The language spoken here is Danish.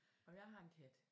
Og jeg har en kat